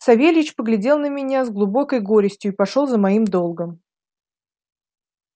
савельич поглядел на меня с глубокой горестью и пошёл за моим долгом